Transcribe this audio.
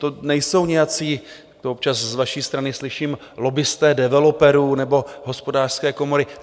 To nejsou nějací - to občas z vaší strany slyším - lobbisté developerů nebo Hospodářské komory.